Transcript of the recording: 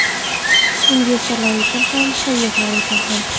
Investorlar uchun ham, sayyohlar uchun ham.